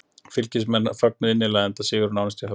Fylkismenn fögnuðu innilega enda sigurinn nánast í höfn.